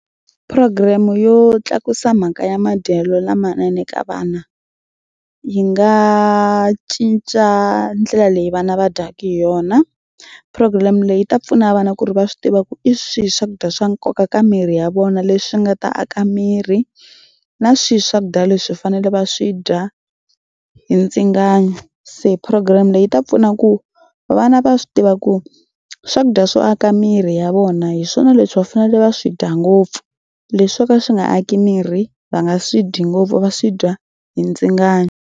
Program yo tlakusa mhaka ya madyelo lamanene ka vana yi nga cinca ndlela leyi vana va dyaka hi yona. Program leyi yi ta pfuna vana ku ri va swi tiva ku i swihi swakudya swa nkoka ka miri ya vona leswi nga ta aka miri na swihi swakudya leswi fanele va swi dya hi ndzingano. Se program leyi yi ta pfuna ku vana va swi tiva ku swakudya swo aka miri ya vona hi swona leswi va fanele va swi dya ngopfu leswi swo ka swi nga aki miri va nga swi dyi ngopfu va swi dya hi ndzingano.